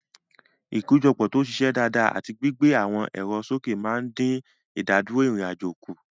Ìkójọpọ̀ tó ṣiṣẹ́ dáadáa àti gbígbé àwọn ẹ̀rọ sókè máa ń dín ìdádúró ìrìn-àjò kù.